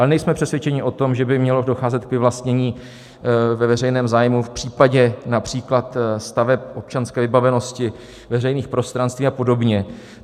Ale nejsme přesvědčeni o tom, že by mělo docházet k vyvlastnění ve veřejném zájmu v případě například staveb občanské vybavenosti, veřejných prostranství a podobně.